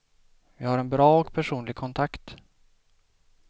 Vi har en bra och personlig kontakt.